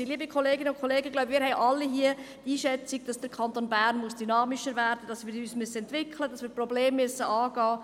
Wir alle teilen die Einschätzung, dass der Kanton Bern dynamischer werden muss, dass wir uns entwickeln und Probleme angehen müssen.